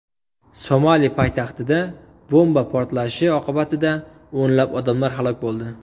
Somali poytaxtida bomba portlatilishi oqibatida o‘nlab odamlar halok bo‘ldi.